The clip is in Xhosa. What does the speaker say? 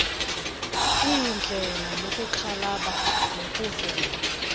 lindela ukuxhalaba nokuvela